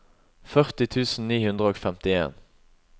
førti tusen ni hundre og femtien